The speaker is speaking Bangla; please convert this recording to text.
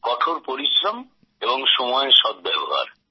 কঠোর পরিশ্রম এবং সময়ের সদ্ব্যবহার